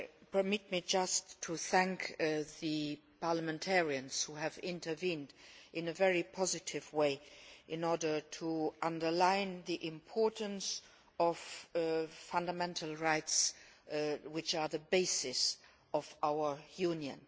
Permit me just to thank the parliamentarians who have intervened in a very positive way in order to underline the importance of fundamental rights, which are the basis of our Union.